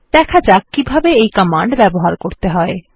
দেখা যাক কিভাবে এই কমান্ড ব্যবহার করতে হয়